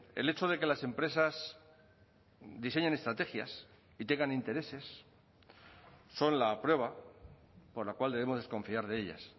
el hecho de que las empresas diseñen estrategias y tengan intereses son la prueba por la cual debemos desconfiar de ellas